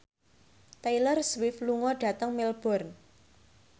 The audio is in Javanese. Taylor Swift lunga dhateng Melbourne